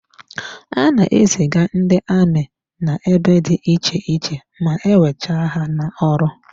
Ha na-eziga ndị amị n'ebe dị iche iche ma e wecha ha n'ọrụ.